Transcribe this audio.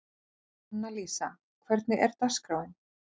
Annalísa, hvernig er dagskráin?